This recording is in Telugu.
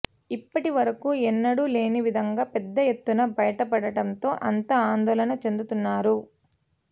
ఇప్పటి వరకు ఎన్నడూ లేని విధంగా పెద్ద ఎత్తున బయటపడటంతో అంతా ఆందోళన చెందుతున్నారు